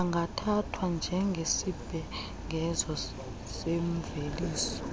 angathathwa njengesibhengezo semveliso